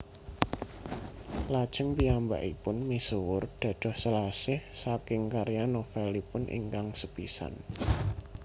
Lajeng piyambakipun misuwur dados Selasih saking karya novelipun ingkang sepisan